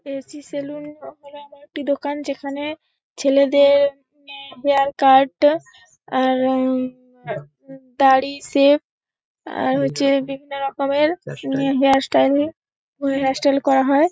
AC. Salon হল এমন একটি দোকান যেখানে ছেলেদের মে হেয়ার কাট আর-র-উ-ম-উ-ম দাড়ি সেভ আর হচ্ছে বিভিন্ন রকমের হেয়ার স্টাইলিং ও হেয়ার স্টাইল করা হয়।